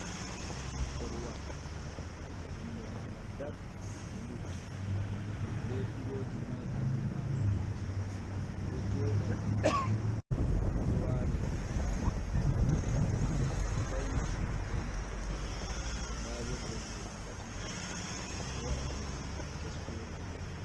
Korwal nonde manga dak gulu be piloji nai ha do majum joda bedo walira do majum beo fauna sudu be majum dabo der 3i beo wada koronje mai kes fere.